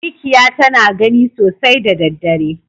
Mikya tana gani sosai da daddare.